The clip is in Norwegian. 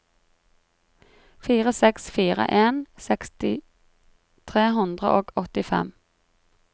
fire seks fire en seksti tre hundre og åttifem